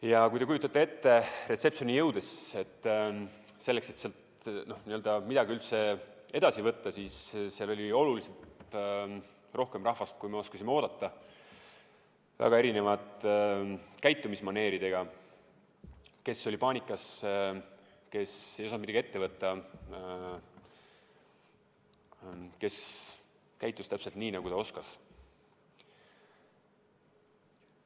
Ja kui te kujutate ette, siis reception'i jõudes, et seal midagi üldse edasi ette võtta, nägime, et seal oli oluliselt rohkem rahvast, kui me oskasime oodata, väga erinevate käitumismaneeridega: kes oli paanikas, kes ei osanud midagi ette võtta, kes käitus täpselt nii, nagu ta oskas.